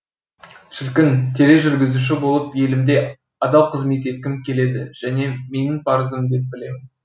шіркін тележүргізуші болып елімде адал қызмет еткім келеді және менің парызым деп білемін